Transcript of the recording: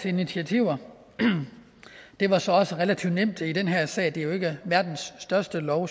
initiativer det var så også relativt nemt i den her sag da det jo ikke er verdens største lov